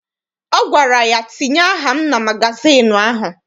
Ọ gwara ya, tinye aka m na magazịịnụ ahụ!